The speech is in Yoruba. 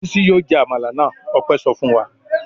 "Bísí yóò jẹ àmàlà náà!" Ọpẹ́ sọ fún wa.